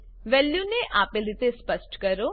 વેલ્યુને આપેલ રીતે સ્પષ્ટ કરો